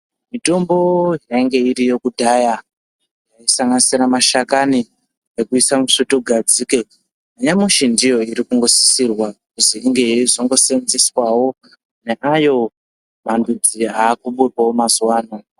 Mitombo inenge iriyo kudhara kusanganisira mashakani ekuisa musvutugadzike. Nyamashi ndiyo iri kusisirwa kuti inge yeisosevenzeswawo naayo mandudzi arikuburwawo mazuwaano .